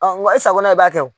nga e sakona i b'a kɛ